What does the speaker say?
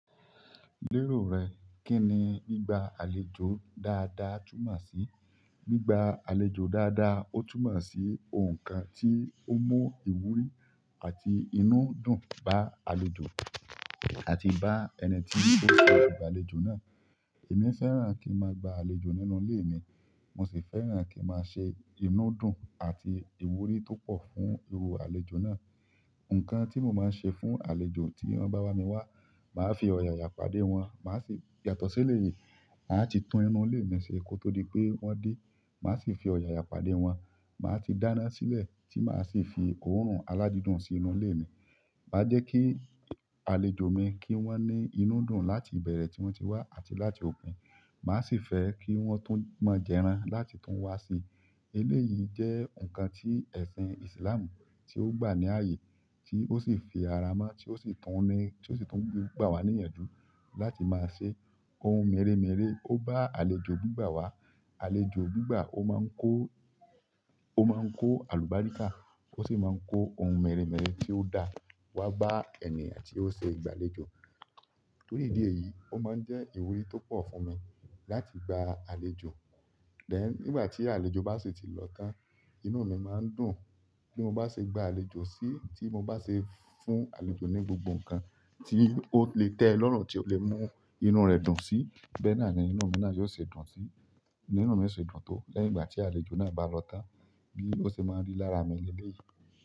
Lérò rẹ, kí ni gbígba àlejò dáadáa túmọ̀ sí? Gbígba àlejò dáadáa ó túmọ̀ sí ohun kan tí ó mú ìwúrí àti inú dùn bá àlejò àti bá ẹni tí ó ṣe ìgbàlejò náà. Èmi fẹ́ràn kí n máa gba àlejò nínú ilé mi, mo sì fẹ́ràn kín máa ṣe inú dùn àti ìwúrí tó pọ̀ fún irú àlejò náà. Ǹkan tí mo máa ń ṣe fún àlejò tí wọn bá wá mi wá, màá fi ọ̀yàyà pàdé wọn, màá sì yàtọ̀ se elé yìí, màá ti tún inú ilé mi ṣe kó tó di pé wọ́n dé. Màá sì fi ọ̀yàyà pàdé wọn, màá ti dáná sílẹ̀ tí màá sì fi òórùn aládídùn sí inú ilé mi. Má jẹ́ kí àlejò mi kí wọ́n ní inú dùn láti ìbẹ̀rẹ̀ tí wọ́n ti wá àti láti òpin. Màá sì fẹ́ kí wọ́n tún mọ̀ jẹran láti tún wá sí i. Elé yìí jẹ́ ǹkan tí ẹ̀sìn Islam tí ó gbà ní ààyè tí ó sì fi ara mọ́ tí ó sì tún ní, tí ó sì tún gbà wá ní yanju láti máa ṣe ohun mèremère. Ó bá àlejò gbígbà wá, àlejò gbígbà ó mọń kó, ó mọń kó àlùbáríkà, ó sì mọń kó ohun mèremère tí ó da wá bá ẹni àti ó ṣe ìgbàlejò. Torí ìdí èyí, ó máa ń jẹ́ ìwúrí tó pọ̀ fún mi láti gba àlejò. Then ńìgbà tí àlejò bá sì ti lọ tán, inú mi máa ń dùn. Bí mo bá ṣe gba àlejò sí i, tí mo bá ṣe fún àlejò ní gbogbo ǹkan tí ó lè tẹ́ ẹ lọ́rùn, tí ó lè mú inú rẹ̀ dùn sí, bẹ́ náà ni inú mi náà yóò ṣe dùn sí. Bínú mi ó ṣe dùn tó lẹ́yìn ìgbà tí àlejò náà bá lọ tán bí ó ṣe mọń rí lára mi lelé yìí.